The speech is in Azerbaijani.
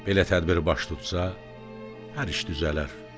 Belə tədbir baş tutsa, hər iş düzələr.